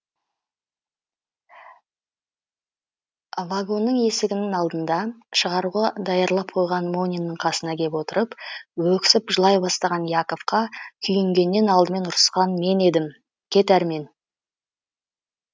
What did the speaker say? вагонның есігінің алдында шығаруға даярлап қойған мониннің қасына кеп отырып өксіп жылай бастаған яковқа күйінгеннен алдымен ұрысқан мен едім кет әрмен